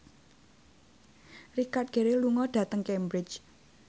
Richard Gere lunga dhateng Cambridge